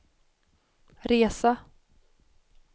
resa